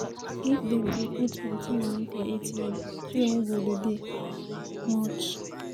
If dem dey put plenty monie for ATM queue no go dey dey much.